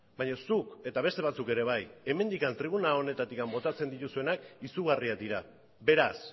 baina zuk eta beste batzuk ere bai hemendik tribuna honetatik botatzen dituzuenak izugarriak dira beraz